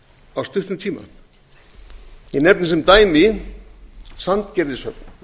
á stuttum tíma ég nefni sem dæmi sandgerðishöfn